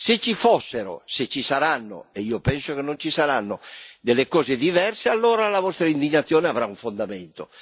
Se ci fossero, se ci saranno ma io penso che non ci saranno delle cose diverse, allora la vostra indignazione avrà un fondamento.